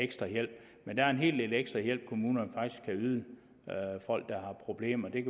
af ekstra hjælp men der er en hel del ekstra hjælp kommunerne faktisk kan yde folk der har problemer det